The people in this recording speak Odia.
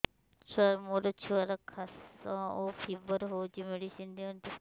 ସାର ମୋର ଛୁଆର ଖାସ ଓ ଫିବର ହଉଚି ମେଡିସିନ ଦିଅନ୍ତୁ